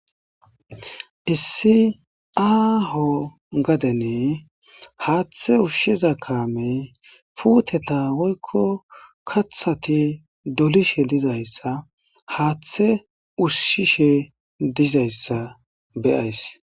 Issi aaho gadene haaththe ushsheza kaamey puteta woykko kathati dolishe dizayssa haaththe ushshishe dizayssa beyays.